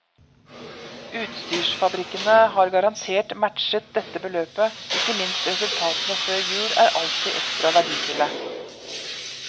Utstyrsfabrikkene har garantert matchet dette beløpet, ikke minst resultatene før jul er alltid ekstra verdifulle.